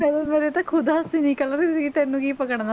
ਮੇਰੇ ਤਾਂ ਖੁੱਦ ਹੱਸੀ ਨਿਕਲ ਰਹੀ ਸੀਗੀ ਤੈਨੂੰ ਕੀ ਪਕੜਨਾ,